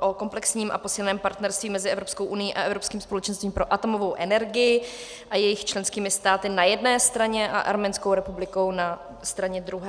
o komplexním a posíleném partnerství mezi Evropskou unií a Evropským společenstvím pro atomovou energii a jejich členskými státy na jedné straně a Arménskou republikou na straně druhé.